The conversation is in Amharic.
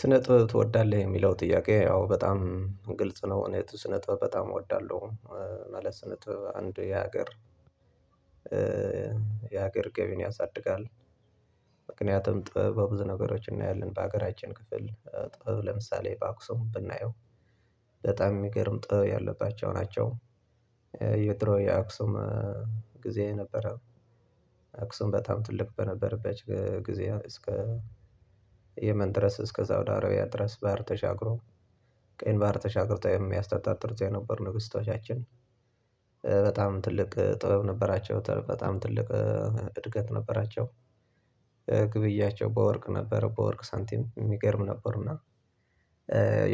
ስነ ጥበብ ትወዳለህ? የሚለው ጥያቄ ያው በጣም ግልጽ ነው እኔ ስነ ጥበብ በጣም እወዳለሁ። ማለት ስነጥብ አንድ የሀገር የሀገር ገቢን ያሳድጋል። ምክንያቱም ጥበብ በብዙ ነገሮች እናያለን በሀገራችን ክፍል ጥበብ ለምሳሌ በአክሱም ብናየው በጣም የሚገርምጠው ያለባቸው ናቸው። የጥሮ የአክሱም ጊዜ ነበረ። አክሱም በጣም ትልቅ በነበረበት ጊዜ እስከ የመን ድረስ እስከ ሳውዲ አረቢያ ድረስ ባህር ተሻግሮ ቀን ባህር ተሻግሮ ተወሚያስታጣ ጥርዛ የነበር ንግስታችን በጣም ትልቅ ጥበብ ነበራቸው በጣም ትልቅ እድገት ነበራቸው። ግብያቸው በወርቅ ነበር በወርቅ ሳንቲም የሚገርም ነበር። እና